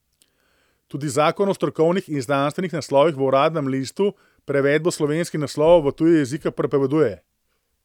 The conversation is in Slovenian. Tudi Zakon o strokovnih in znanstvenih naslovih v Uradnem listu prevedbo slovenskih naslovov v tuje jezike prepoveduje.